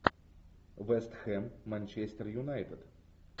вест хэм манчестер юнайтед